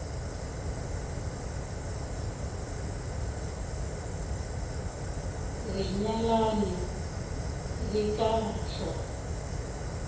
re nyalane re ka hlwa